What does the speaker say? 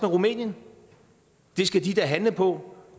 rumænien det skal de da handle på